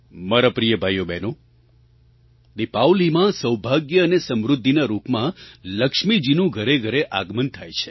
મારા પ્રિય ભાઈઓબહેનો દીપાવલીમાં સૌભાગ્ય અને સમૃદ્ધિના રૂપમાં લક્ષ્મીજીનું ઘરેઘરે આગમન થાય છે